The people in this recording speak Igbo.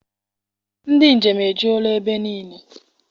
Ndị njem ejula ebe niile.